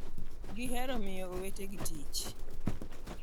...gihero miyo owetegi tich...'